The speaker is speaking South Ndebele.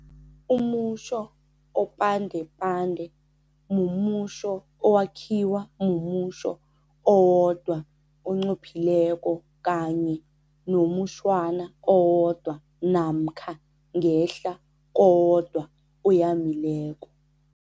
Umutjho opandepande mumutjho owakhiwa mumutjho owodwa onqophileko kanye nomutjhwana owodwa namkha ngehla kowodwa oyamileko.